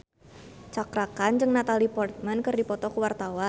Cakra Khan jeung Natalie Portman keur dipoto ku wartawan